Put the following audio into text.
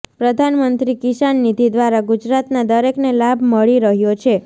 પ્રધાનમંત્રી કિસાન નીધિ દ્વારા ગુજરાતના દરેકને લાભ મળી રહ્યો છે